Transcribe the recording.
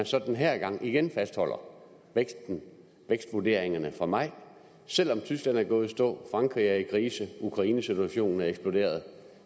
så den her gang igen fastholder vækstvurderingerne fra maj selv om tyskland er gået i stå frankrig er i krise og ukrainesituationen er eksploderet